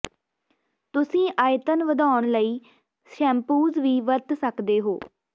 ਤੁਸੀਂ ਆਇਤਨ ਵਧਾਉਣ ਲਈ ਸ਼ੈਂਪੂਸ ਵੀ ਵਰਤ ਸਕਦੇ ਹੋ